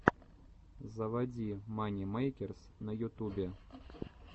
заводи мани мэйкерс на ютубе